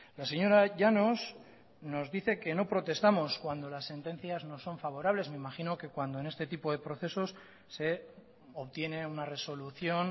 la señora llanos nos dice que no protestamos cuando las sentencias nos son favorables me imagino que cuando en este tipo de procesos se obtiene una resolución